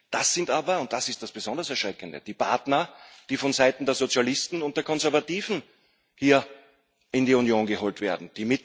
Das sind aber und das ist das besonders Erschreckende die Partner, die von Seiten der Sozialisten und der Konservativen hier in die Union geholt werden.